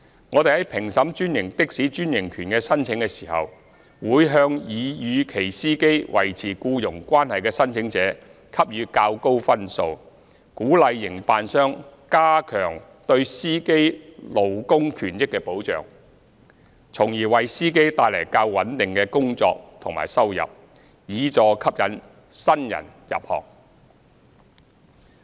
我們在評審專營的士專營權的申請時，會向擬與其司機維持僱傭關係的申請者給予較高分數，鼓勵營辦商加強對司機勞工權益的保障，從而為司機帶來較穩定的工作和收入，以助吸引新人入行。